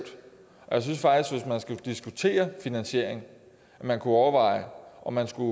diskutere finansiering kunne overveje om om man skulle